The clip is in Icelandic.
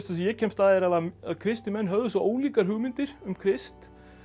ég kemst að er að kristnir menn höfðu svo ólíkar hugmyndir um Krist